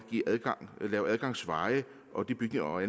lave adgangsveje og de bygninger og